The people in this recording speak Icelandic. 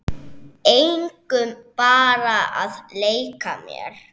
Engum, bara að leika mér